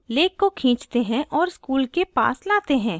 अब lake को खींचते हैं और school के पास लाते हैं